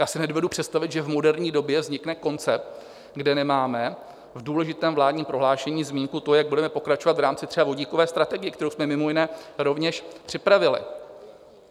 Já si nedovedu představit, že v moderní době vznikne koncept, kde nemáme v důležitém vládním prohlášení zmínku, to jak budeme pokračovat v rámci třeba vodíkové strategie, kterou jsme mimo jiné rovněž připravili.